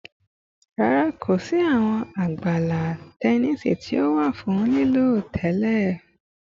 Rara, ko si awọn agbala tẹnisi ti o wa fun lilo tẹlẹ